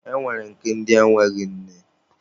E nwere nke ndi enweghị nne.